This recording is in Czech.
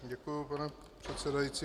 Děkuji, pane předsedající.